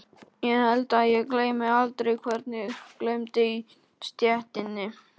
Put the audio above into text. Ég held að ég gleymi aldrei hvernig glumdi í stéttinni.